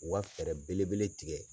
U ka fɛrɛ belebele tigɛ